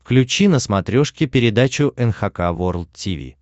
включи на смотрешке передачу эн эйч кей волд ти ви